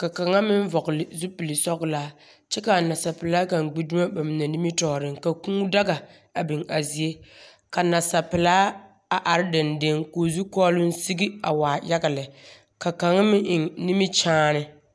ka kaŋa meŋ vɔgele zupil sɔgelaa kyɛ ka anasapelaa kaŋa gbi dumo ba mine nimtɔɔreŋ, ka kũũ daga a biŋ a zie ka nasapelaa a are dendeŋe ka o zukɔɔloŋ sigi a waa yaga lɛ. Ka kaŋ meŋeŋ nimkyaane.